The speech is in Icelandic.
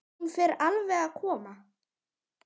Hún fer alveg að koma.